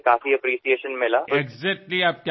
सगळीकडेच फार कौतुक झाले